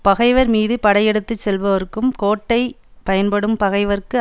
பகைவர் மீது படையெடுத்து செல்பவர்க்கும் கோட்டை பயன்படும் பகைவர்க்கு